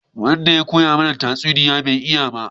Wanda ya koya mana tatsuniya bai iya ba